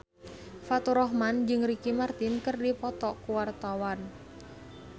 Faturrahman jeung Ricky Martin keur dipoto ku wartawan